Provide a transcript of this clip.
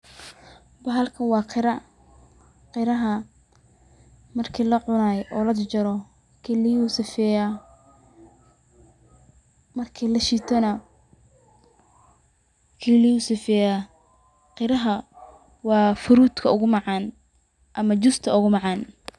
Bahalkan waa qira ,qiraha marki la cunayo oo la jarjaro kiliyuhu sifeyaa, marki la shiito nah kiliyuhu sifeyaa .Qiraha waa fruit ka ugu macaan ama justa ugu macaan .